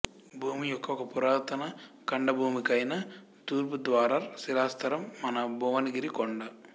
భూమి యొక్క ఒక పురాతన ఖండభూమికైన తూర్పుధార్వార్ శిలాస్తరం మన భువనగిరికొండ